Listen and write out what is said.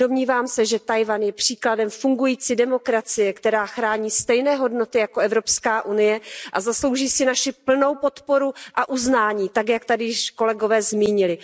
Domnívám se, že Tchaj wan je příkladem fungující demokracie, která chrání stejné hodnoty jako EU, a zaslouží si naši plnou podporu a uznání tak, jak tady již kolegové zmínili.